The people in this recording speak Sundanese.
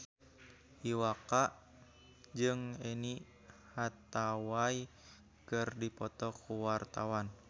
Iwa K jeung Anne Hathaway keur dipoto ku wartawan